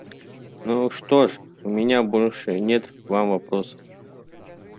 ну что ж у меня больше нет к вам вопросов